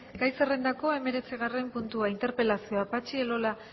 gai zerrendako hemeretzigarren puntua interpelazioa patxi elola